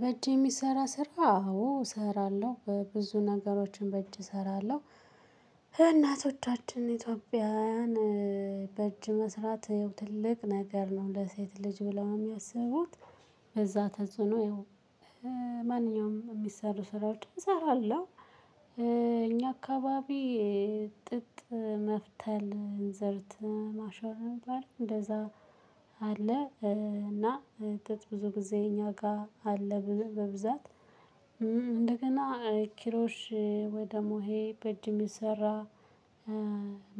በእጅ የሚሰራ ስራ አዎ እሰራለሁ በብዙ ነገሮችን በእጅ እሰራለሁ እናቶቻችን ኢትዮጵያውያን በእጅ መስራት ትልቅ ነገር ነው ለሴት ልጅ ብለው የሚያስቡት በዛ ተጽዕኖ ማንኛውም የሚሰሩ ስራዎችን እሰራለሁ። እኛ አካባቢ ጥጥ መፍተል እንዘርት ማሾር እሚባል እንደዛ አለ እና ጥጥ ብዙ ጊዜ እኛ ጋር አለ በብዛት። እንደገና ኪሮሽ ደግሞ ይሄ በጅም የሚሰራ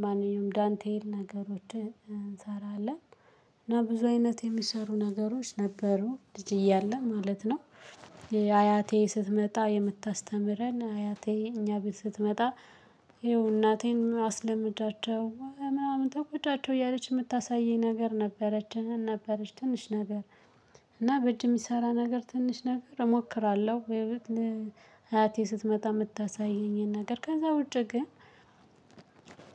ማንኛውም ዳንቴል ነገሮችን እንሰራለን። እና ብዙ አይነት የሚሰሩ ነገሮች ነበሩ ልጅ እያለሁ ማለት ነው። አያቴ ስትመጣ የምታስተምረን አያቴ እኛ ቤት ስትመጣ እናቴን አስለምጃቸው ምናምን ተቆጫቸው እያለች የምታሳየኝ ነገር ነበረች ነበረች ትንሽ ነገር። እና በጅ የሚሰራ ነገር ትንሽ ነገር እሞክራለሁ ወይም ለአያቴ ስትመጣ የምታሳየኝን ነገር ከዛ ውጪ ግን።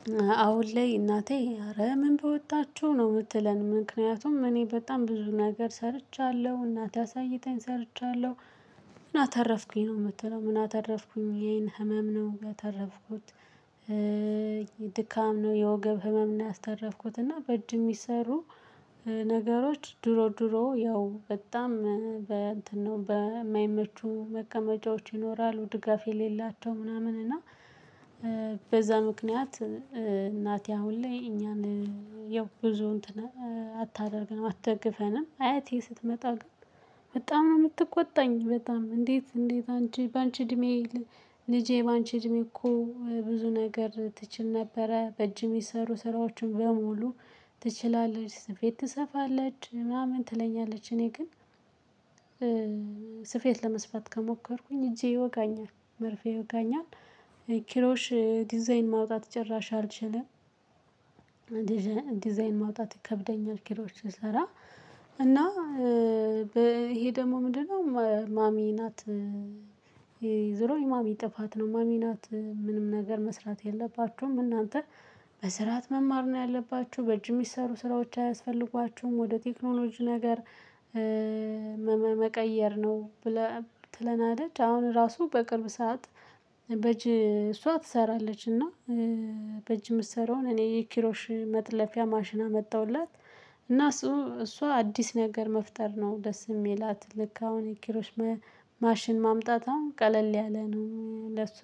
እናቴን አስለምጃቸው ምናምን ተቆጫቸው እያለች የምታሳየኝ ነገር ነበረች ነበረች ትንሽ ነገር እና በጅ የሚሰራ ነገር ትንሽ ነገር እሞክራለሁ ወይም ለአያቴ ስትመጣ የምታሳየኝን ነገር ከዛ ውጪ ግን አሁን። ላይ እናቴ አረ ምን ብወጣችሁ ነው የምትለን ምክንያቱም እኔ በጣም ብዙ ነገር ሰርቻለሁ እናቴ አሳይተኝ ሰርቻለሁ ምን አተረፍኩኝ ነው የምትለው ምን አተረፍኩኝ ይሄን ህመም ነው ጋር ያተረፍኩት። ነገሮች ድሮ ድሮ ያው በጣም በእንትን ነው በማይመቹ መቀመጫዎች ይኖራሉ ድጋፍ የሌላቸው ምናምን እና። በዛ ምክንያት እናቴ አሁን ላይ እኛን ያው ብዙ እንትን አታደርግንም አትደግፈንም አያቴ ስትመጣ ግን። በጣም ነው የምትቆጣኝ በጣም እንዴት እንዴት አንቺ በአንቺ እድሜ። ልጄ በአንቺ እድሜ እኮ ብዙ ነገር ትችል ነበረ በእጅ የሚሰሩ ስራዎችን በሙሉ። ትችላለች ስፌት ትሰፋለች ምናምን ትለኛለች እኔ ግን። ስፌት ለመስራት ከሞከርኩኝ እጄ ይወጋኛል መርፌ ይወጋኛል። ኪሮሽ ዲዛይን ማውጣት ጭራሽ አልችልም። ዲዛይን ማውጣት ይከብደኛል ኪሮሽ ስሰራ። እና ይሄ ደግሞ ምንድነው? ማሚ ናት ዘሮ የማሚ ጥፋት ነው ማሚ ናት ምንም ነገር መስራት የለባችሁም እናንተ። መስራት መማር ነው ያለባችሁ በእጅ የሚሰሩ ስራዎች አያስፈልጓችሁም ወደ ቴክኖሎጂ ነገር። መቀየር ነው። በላ ትለናለች አሁን ራሱ በቅርብ ሰዓት በጅ እሷ ትሰራለች እና። በእጅ የምትሰራውን እኔ የኪሮሽ መጥለፊያ ማሽን አመጣሁላት። እና እሷ አዲስ ነገር መፍጠር ነው ደስ የሚላት ልክ አሁን የኪሮሽ ማሽን ማምጣት አሁን ቀለል ያለ ነው ለሷ።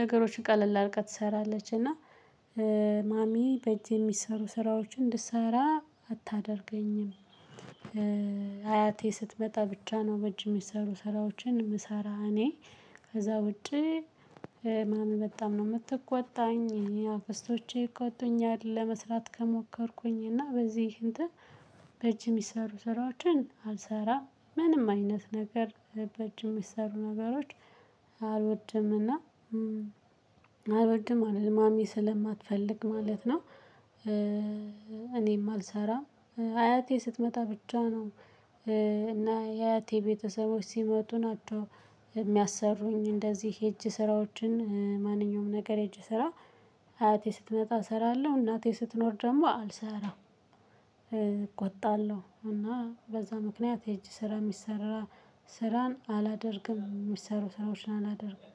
ነገሮች ቀለል አርጋ ትሰራለች እና። ማሚ በጅ የሚሰሩ ስራዎችን እንድሰራ አታደርገኝም። አያቴ ስትመጣ ብቻ ነው በእጅ የሚሰሩ ስራዎችን የምሰራ እኔ። ከዛ ውጪ። ማሚ በጣም ነው የምትቆጣኝ አክስቶቼ ይቆጡኛል ለመስራት ከሞከርኩኝ እና በዚህ እንትን። በእጅ የሚሰሩ ስራዎችን አልሰራም ምንም አይነት ነገር በእጅ የሚሰሩ ነገሮች። አልወድም እና አልወድም ማለት ማሚ ስለማትፈልግ ማለት ነው። እኔም አልሰራም አያቴ ስትመጣ ብቻ ነው። እና የአያቴ ቤተሰቦች ሲመጡ ናቸው የሚያሰሩኝ እንደዚህ የሄጄ ስራዎችን ማንኛውም ነገር እጅ ስራ። አያቴ ስትመጣ እሰራለሁ እናቴ ስትኖር ደግሞ አልሰራም። እቆጣለሁ እና በዛ ምክንያት የእጅ ስራ የሚሰራ ስራን አላደርግም የሚሰሩ ስራዎችን አላደርግም